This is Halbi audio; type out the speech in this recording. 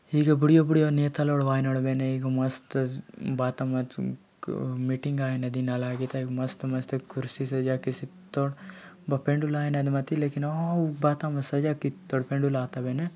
हुए बुढिया बुढिया नेता लडवानाया एक मस्त न बात मत एक मीटिंग अयना नदी नाला एते मस्त मस्त कुर्शी सजाय के तोड बापेन अनडू लेकि न ऑव बात म सज कितनो सजिलो तड़पेनो।